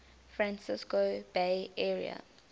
francisco bay area